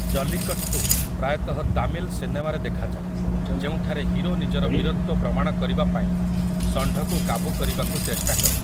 ଜଲିକଟ୍ଟୁ ପ୍ରାୟତଃ ତାମିଲ୍ ସିନେମାରେ ଦେଖାଯାଏ ଯେଉଁଠାରେ ହିରୋ ନିଜର ବୀରତ୍ୱ ପ୍ରମାଣ କରିବାପାଇଁ ଷଣ୍ଢକୁ କାବୁ କରିବାକୁ ଚେଷ୍ଟା କରେ ।